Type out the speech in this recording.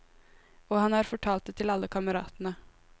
Og han har fortalt det til alle kameratene.